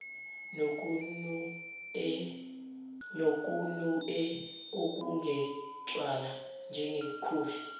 nokunue okungetshwala njengekhofi